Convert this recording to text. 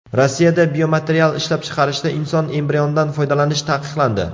Rossiyada biomaterial ishlab chiqarishda inson embrionidan foydalanish taqiqlandi.